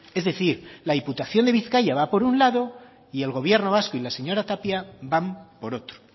es decir la diputación de bizkaia va por un lado y el gobierno vasco y la señora tapia van por otro